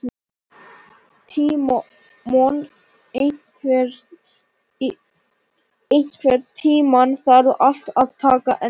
Tímon, einhvern tímann þarf allt að taka enda.